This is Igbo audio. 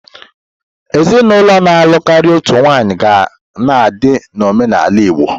Ezinụlọ na-alụ karịa otu nwaanyị ga na-adị na omenala Igbo.